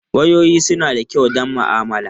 Wayoyi suna da kyau don ma'amala.